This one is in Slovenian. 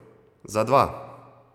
Za dva!